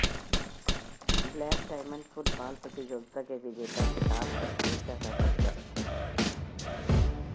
black Diamond football प्रतियोगिता के विजेता खिताब पर चरचा का कब्जा